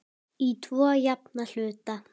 Í tvo jafna hluta.